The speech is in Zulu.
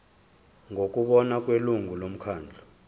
ngokubona kwelungu lomkhandlu